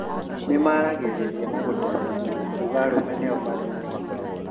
Nĩmaragĩrĩria na gũtemithia makiuga arũme nĩo mari na hinya